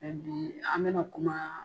Mɛ bi an bɛna kuma.